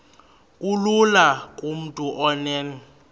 kulula kumntu onen